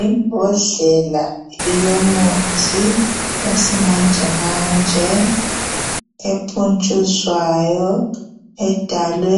Imbodlela yomuthi wesimanje manje epuntshuzwayo edalwe